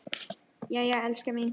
Jæja, elskan mín.